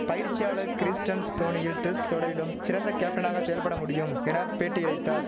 பயிற்சியாளர் கிறிஸ்டன்ஸ் தோனியில் டெஸ்ட் தொடரிலும் சிறந்த கேப்டனாக செயல்பட முடியும் என பேட்டியளித்தார்